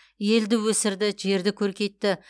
елді өсірді жерді көркейтті